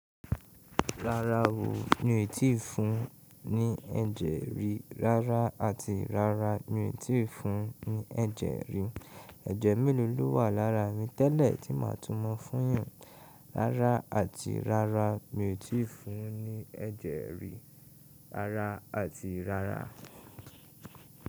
Rárá o, mi tí ì fun ní ẹ̀jẹ̀ rí rárá, àti rárá mi tí ì fun ní ẹ̀jẹ̀ rí. Ẹ̀jẹ̀ mélòó ló wà lára mi tẹ́lẹ̀ tí màá tó mọ̀ fún yàn. Rárá àti rárá, mi ò tí ì fun ní ẹ̀jẹ̀ rí rárá àti rárá.